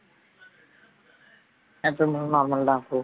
எப்பவும் போல normal தான் அப்பு